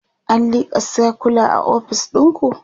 an lika sircula a ofis ɗinku?